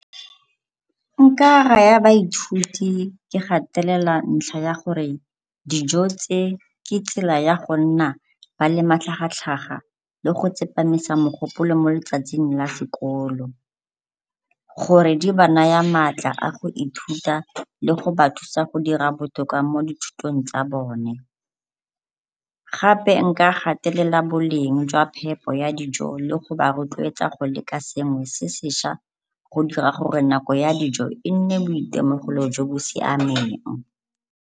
Nka raya baithuti ke gatelela ntlha ya gore dijo tse ke tsela ya go nna ba le matlhagatlhaga le go tsepamisa mogopolo mo letsatsing la sekolo, gore di ba naya maatla a go ithuta le go ba thusa go dira botoka mo dithutong tsa bone. Gape nka gatelela boleng jwa theko ya dijo le go ba rotloetsa go leka sengwe se sešwa go dira gore nako ya dijo e nne boitemogelo jo bo siameng.